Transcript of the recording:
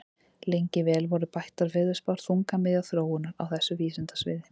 Lengi vel voru bættar veðurspár þungamiðja þróunar á þessu vísindasviði.